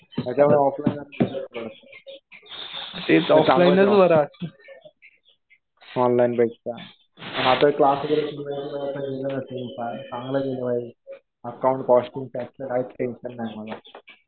त्याच्यामुळं ऑफलाईनच बेटर पडतं. ऑनलाईनपेक्षा.